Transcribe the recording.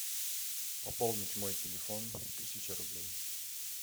пополнить мой телефон тысяча рублей